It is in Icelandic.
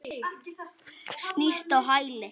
Snýst á hæli.